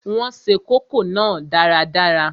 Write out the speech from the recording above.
Wọn se kókò náà dáradára